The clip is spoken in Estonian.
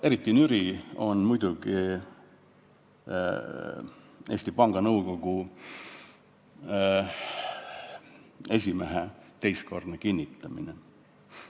Eriti nüri oli muidugi Eesti Panga Nõukogu esimehe teistkordne ametisse kinnitamine.